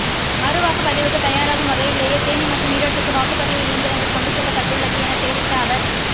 மறு வாக்குப்பதிவுக்கு தயாராகும் வகையிலேயே தேனி மற்றும் ஈரோட்டுக்கு வாக்குப்பதிவு இயந்திரங்கள் கொண்டு செல்லப்பட்டுள்ளது என தெரிவித்த அவர்